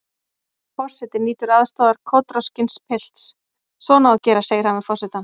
Forseti nýtur aðstoðar kotroskins pilts: Svona á að gera segir hann við forsetann.